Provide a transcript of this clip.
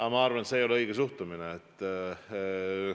Aga ma arvan, et see ei ole õige suhtumine.